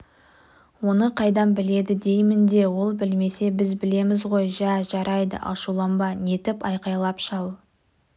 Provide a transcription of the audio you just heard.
оны қайдан біледі деймін де ол білмесе біз білеміз ғой жә жарайды ашуланба нетіп айқайлап шал